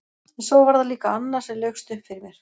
En svo var það líka annað sem laukst upp fyrir mér.